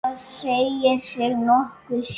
Það segir sig nokkuð sjálft.